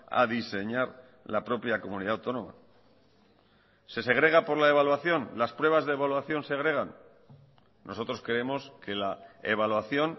a diseñar la propia comunidad autónoma se segrega por la evaluación las pruebas de evaluación segregan nosotros creemos que la evaluación